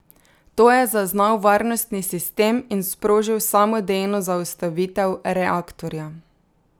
To je zaznal varnostni sistem in sprožil samodejno zaustavitev reaktorja.